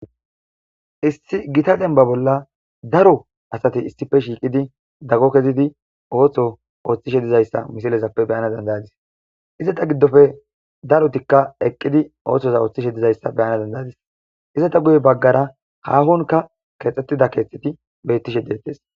Issi Gita demba bolla daro asati issippe shiiqid dago kezidi ootho othishe dizaysa misilezappe beyana danda'adis. Izeta gidoppe darotika eqidi oosoza oothishe dizaysa beyana danda'adis, izeta guye bagara haahonka kexetida keetheti de'etesi.